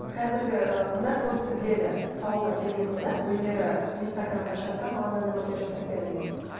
қазіргі қыздар көбісі біледі салонға келген қыздар өздері инстаграмды ашады да маған мынандай макияж істеп беріңіз дейді